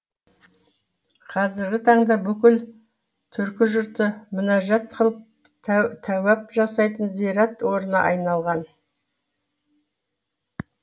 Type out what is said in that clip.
қазіргі таңда бүкіл түркі жұрты мінәжат қылып тәуәп жасайтын зират орнына айналған